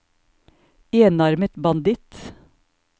enarmet banditt